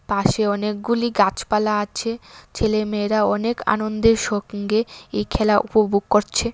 পাশে অনেকগুলি গাছপালা আছে ছেলে মেয়েরা অনেক আনন্দের সঙ্গে এই খেলা উপভোগ করছে।